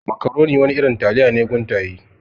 Makaroni wani irin taliya ne guntaye.